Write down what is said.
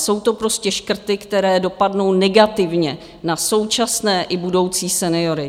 Jsou to prostě škrty, které dopadnou negativně na současné i budoucí seniory.